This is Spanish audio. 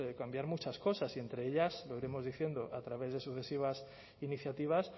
cambiar muchas cosas y entre ellas lo iremos diciendo a través de sucesivas iniciativas